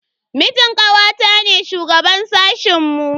Mijin kawata ne shugaban sashen mu.